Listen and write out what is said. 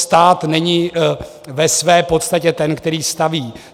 Stát není ve své podstatě ten, který staví.